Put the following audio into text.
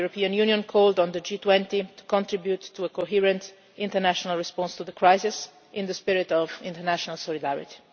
The European Union called on the G20 to contribute to a coherent international response to the crisis in the spirit of international solidarity.